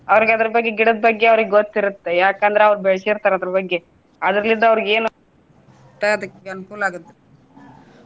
ಅವ್ರಿಗ ಅದರ ಬಗ್ಗೆ ಗಿಡದ ಬಗ್ಗೆ ಅವ್ರಿಗ ಗೊತ್ತ ಇರುತ್ತೆ ಯಾಕ ಅಂದ್ರ ಅವ್ರ ಬೆಳ್ಸಿರ್ತಾರ ಅದರ ಬಗ್ಗೆ ಅದ್ರಲ್ಲಿದ್ದವರಿಗೇನು ಅನುಕೂಲ ಆಗುತ್ತೆ.